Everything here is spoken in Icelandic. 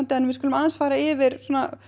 en við skulum aðeins fara yfir